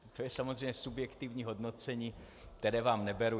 To je samozřejmě subjektivní hodnocení, které vám neberu.